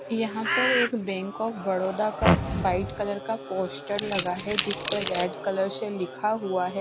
यहां पर एक बैंक ऑफ़ बड़ौदा का वाइट कलर का पोस्टर लगा है जिस पर रेड कलर से लिखा हुआ है।